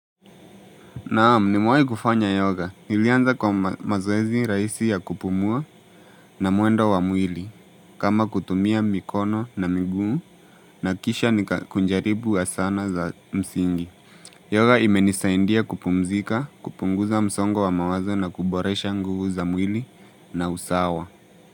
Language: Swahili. Naam nimewahi kufanya yoga, nilianza kwa mazoezi rahisi ya kupumua na mwendo wa mwili kama kutumia mikono na miguu na kisha nikakujaribu wa sana za msingi Yoga imenisaidia kupumzika, kupunguza msongo wa mawazo na kuboresha nguvu za mwili na usawa.